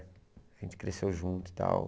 A gente cresceu junto e tal.